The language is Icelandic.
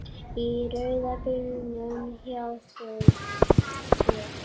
Í rauða bílnum hjá þér.